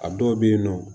A dɔw bɛ yen nɔ